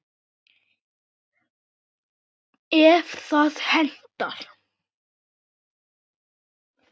ef það hentar!